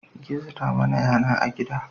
Gizo ta mana yana a gida